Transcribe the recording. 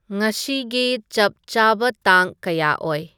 ꯉꯁꯤꯒꯤ ꯆꯞ ꯆꯕ ꯇꯥꯡ ꯀꯌꯥ ꯑꯣꯏ